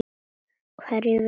Hverju vilt þú breyta?